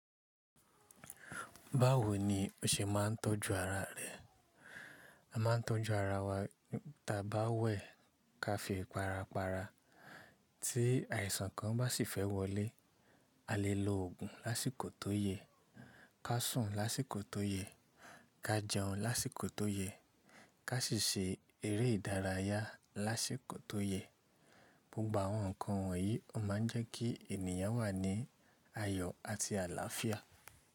Báwo ni o ṣe máa ń tọ́jú ara rẹ? A máa ń tọ́jú ara wa taa bá wẹ̀ ká fi ipara para, tí àìsàn kan bá sì fẹ́ wọlé, a lè lo òògùn lásìkò tó yẹ, ká sùn lásìkò tó yẹ, ká jẹun lásìkò tó yẹ, ká sì ṣe eré ìdárayá lásìkò tó yẹ. Gbogbo àwọn nǹkan wọ̀nyí o máa ń jẹ́ kí ènìyàn wà ní ayọ̀ àti àlàáfíà.